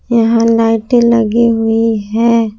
यहां लाइटें लगी हुई है।